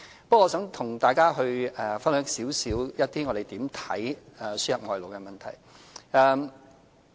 不過，我想跟大家分享我們對輸入外勞的看法。